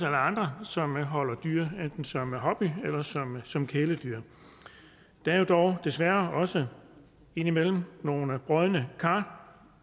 andre som holder dyr enten som hobby eller som som kæledyr der er dog desværre også indimellem nogle brodne kar